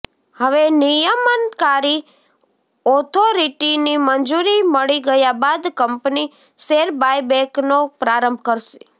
હવે નિયમનકારી ઓથોરિટીની મંજૂરી મળી ગયા બાદ કંપની શેર બાયબેકનો પ્રારંભ કરશે